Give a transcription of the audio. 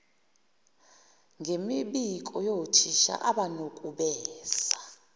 ngemibiko yothisha abanukubeza